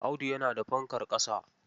Audu yana da fankar ƙasa.